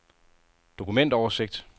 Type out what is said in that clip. dokumentoversigt